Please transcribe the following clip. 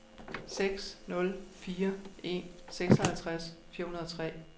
seks nul fire en seksoghalvtreds fire hundrede og tre